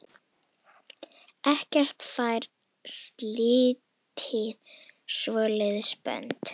Ekkert fær slitið svoleiðis bönd.